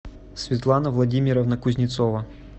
светлана владимировна кузнецова